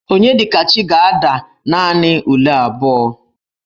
Onyedikachi ga-ada naanị ule abụọ.